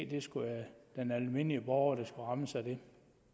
det skulle være den almindelige borger der skulle rammes af det